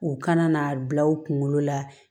U kana n'a bila u kunkolo la